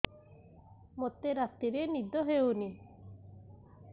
ମୋତେ ରାତିରେ ନିଦ ହେଉନି